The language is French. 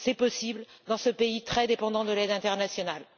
C'est possible dans ce pays très dépendant de l'aide internationale.